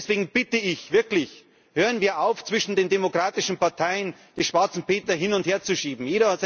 Und deswegen bitte ich wirklich Hören wir auf, zwischen den demokratischen Parteien die schwarzen Peter hin und her zu schieben.